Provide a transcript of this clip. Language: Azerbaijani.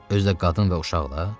Özü də qadın və uşaqla?